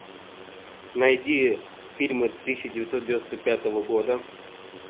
найди фильмы тысяча девятьсот девяносто пятого года